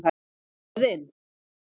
Héðinn